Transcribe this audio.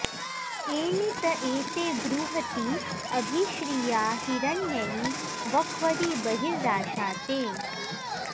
एनी॑ त ए॒ते बृ॑ह॒ती अ॑भि॒श्रिया॑ हिर॒ण्ययी॒ वक्व॑री ब॒र्हिरा॑शाते